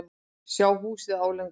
Sá húsið álengdar.